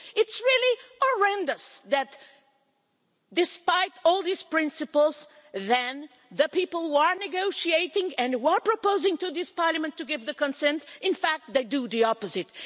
It's really horrendous that, despite all these principles, the people who are negotiating and were proposing to this Parliament to give its consent, in fact they do opposite.